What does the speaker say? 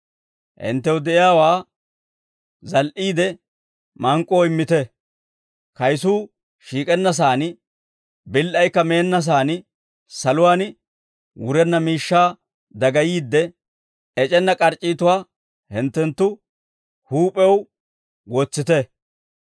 «Hinttew de'iyaawaa zal"iide mank'k'oo immite; kayisuu shiik'ennasaan, bil"aykka meennasaan, saluwaan wurenna miishshaa dagayiidde, ec'enna k'arc'c'itatuwaa hinttenttu huup'ew wotsite.